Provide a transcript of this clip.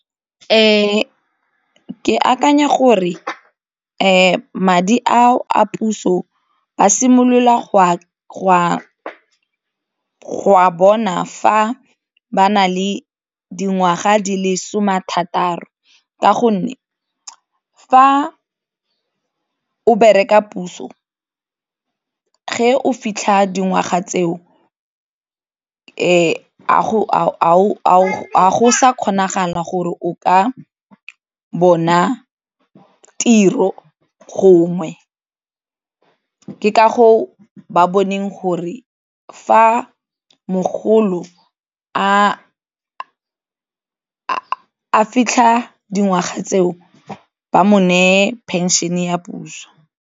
Ke akanya gore madi ao a puso ba simolola go a bona fa ba na le dingwaga di le some a thataro ka gonne fa o bereka puso o fitlha dingwaga tseo, a go sa kgonagala gore o ka bona tiro gongwe ke ka moo ba boneng gore fa mogolo a fitlha dingwaga tseo ba mo neye pension ya puso.